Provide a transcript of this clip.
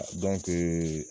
Dɔnke